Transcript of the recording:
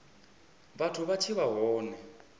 vhathu vha tshi vha hone